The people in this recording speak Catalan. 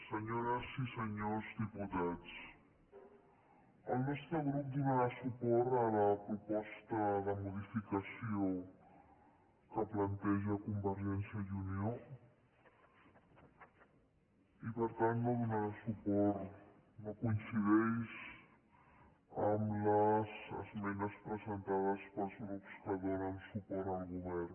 senyores i senyors diputats el nostre grup donarà suport a la proposta de modificació que planteja convergència i unió i per tant no donarà suport no coincideix amb les esmenes presentades pels grups que donen suport al govern